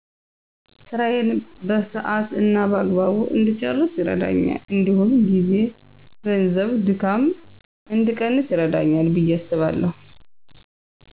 ስራየን በሰሀት እና በአግባቡ እድጨረስ ይርደኛል እዲሁም ጊዜ፣ ገንዘብ፣ ድካም እድቀንስ ይረዳኛል። ብየ አስባለሁ።